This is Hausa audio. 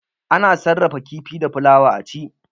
Ana sarrafa kifi da fulawa a ci.